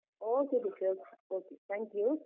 Okay Deeksha okay thank you .